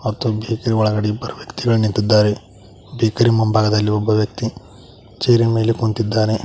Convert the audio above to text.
ಮತ್ತು ಬೇಕರಿ ಒಳಗಡೆ ಇಬ್ಬರು ವ್ಯಕ್ತಿಗಳ ನಿಂತಿದ್ದಾರೆ ಬೇಕರಿ ಮುಂಭಾಗದಲ್ಲಿ ಒಬ್ಬ ವ್ಯಕ್ತಿ ಚೇರ್ ಇನ್ ಮೇಲೆ ಕುಂತಿದ್ದಾನೆ.